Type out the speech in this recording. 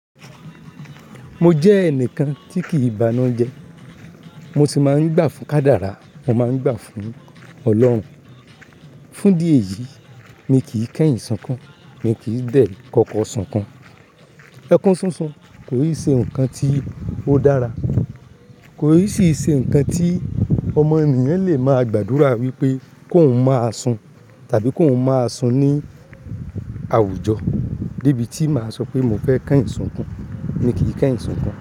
Mo jẹ́ ẹnìkan tí kì í bánu jẹ. Mo sì máa ń gbà fún Kádárà, mo máa ń gbà fún Ọlọ́run. Fún dí eyìí, mí kì í kẹ́yìn sunkún, mí kì í dẹ̀ koko sunkún. Ẹkún súnsun kò n ṣe nǹkan tí ó dára. Kò n sì ṣe nǹkan tí ọmọ ènìyàn lè máa gbàdúrà wípé kó n máa sun tàbí kó n máa sun ní àwùjọ. Debi tí màá sọ pé mo fẹ́ kẹ́yìn sunkún, mí kì í kẹ́yìn sunkún.